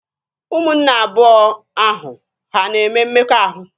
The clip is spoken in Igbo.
Ụmụnne abụọ ahụ ha na-eme mmekọahụ?